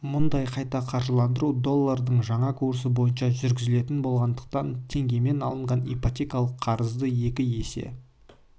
мұндай қайта қаржыландыру доллардың жаңа курсы бойынша жүргізілетін болғандықтан теңгемен алынған ипотекалық қарызды екі есе